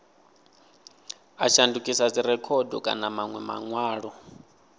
a shandukisa dzirekhodo kana manwe manwalo